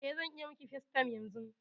Eh, zan iya miƙi facetime yanzun.